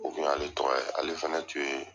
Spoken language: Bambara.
O kun y'ale tɔgɔ ye ale fana tun ye